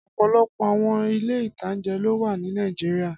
Ọ̀pọ̀lọpọ̀ àwọn ilé-ìtánjẹ ló wà ní Nàìjíríyà